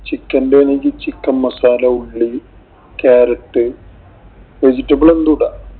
Chicken ന്‍റെ ആണെങ്കില്‍ chicken masala, ഉള്ളി, ക്യാരറ്റ്, vegetable എന്തും ഇടാം.